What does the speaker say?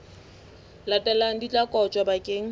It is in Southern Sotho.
latelang di tla kotjwa bakeng